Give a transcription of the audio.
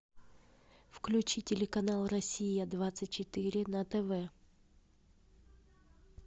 включи телеканал россия двадцать четыре на тв